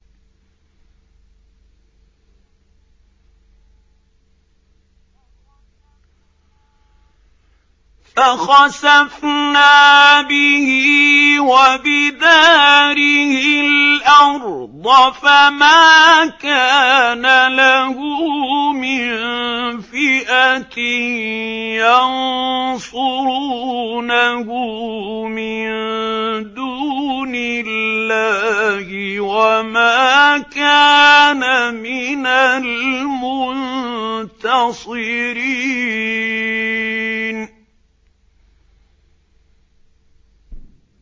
فَخَسَفْنَا بِهِ وَبِدَارِهِ الْأَرْضَ فَمَا كَانَ لَهُ مِن فِئَةٍ يَنصُرُونَهُ مِن دُونِ اللَّهِ وَمَا كَانَ مِنَ الْمُنتَصِرِينَ